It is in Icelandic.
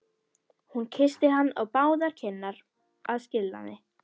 Hún kyssti hann á báðar kinnar að skilnaði.